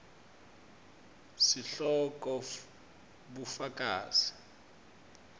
sihloko bufakazi